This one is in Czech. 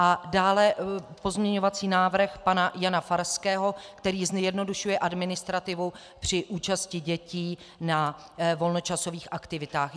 A dále pozměňovací návrh pana Jana Farského, který zjednodušuje administrativu při účasti dětí na volnočasových aktivitách.